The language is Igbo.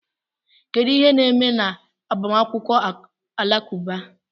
Kedu ihe na-eme n'agbamakwụkwọ Alakụba?